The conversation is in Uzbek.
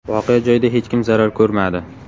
Voqea joyida hech kim zarar ko‘rmadi.